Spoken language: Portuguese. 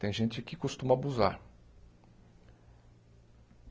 Tem gente que costuma abusar.